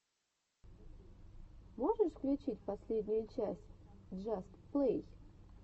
можешь включить последнюю часть джаст плей